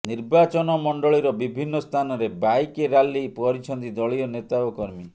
ନିର୍ବାଚନ ମଣ୍ଡଳୀର ବିଭିନ୍ନ ସ୍ଥାନରେ ବାଇକ୍ ର୍ୟାଲି କରିଛନ୍ତି ଦଳୀୟ ନେତା ଓ କର୍ମୀ